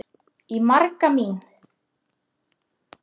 Í maga mín